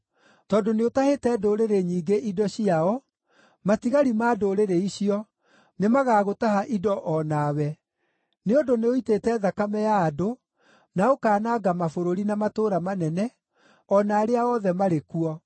Tondũ nĩũtahĩte ndũrĩrĩ nyingĩ indo ciao, matigari ma ndũrĩrĩ icio, nĩmagagũtaha indo o nawe. Nĩ ũndũ nĩũitĩte thakame ya andũ, na ũkaananga mabũrũri, na matũũra manene, o na arĩa othe marĩ kuo.